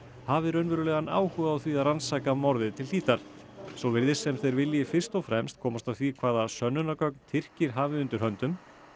hafi raunverulegan áhuga á því að rannsaka morðið til svo virðist sem þeir vilji fyrst og fremst komast að því hvaða sönnunargögn Tyrkir hafi undir höndum